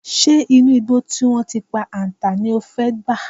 Ǹjé̩ inú igbó tí wó̩n ti pa àǹtà ní o fé̩ gbà?